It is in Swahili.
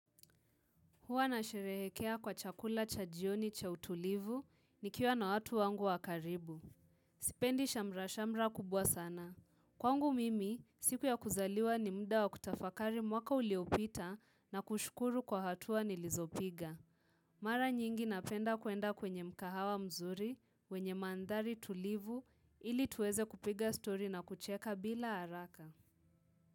Huwa nasherehekea kwa chakula cha jioni cha utulivu nikiwa na watu wangu wa karibu. Sipendi shamra shamra kubwa sana. Kwangu mimi, siku ya kuzaliwa ni muda wa kutafakari mwaka uliopita na kushukuru kwa hatua nilizopiga. Mara nyingi napenda kuenda kwenye mkahawa mzuri, wenye mandhari tulivu, ili tuweze kupiga stori na kucheka bila haraka.